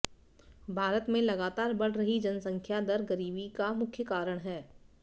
भारत में लगातार बढ़ रही जनसंख्या दर गरीबी का मुख्य कारण है